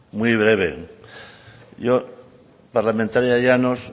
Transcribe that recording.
muy breve yo parlamentaria llanos